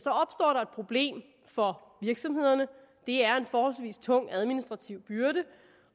problem for virksomhederne det er en forholdsvis tung administrativ byrde